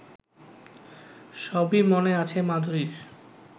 সবই মনে আছে মাধুরীর